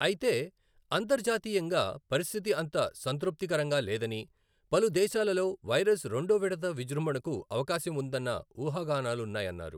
అయితే అంతర్జాతీయంగా పరిస్థితి అంత సంతృప్తికరంగా లేదని, పలు దేశాలలో వైరస్ రెండో విడత విజృంభణకు అవకాశం ఉందన్న ఊహాగానాలున్నాయన్నారు.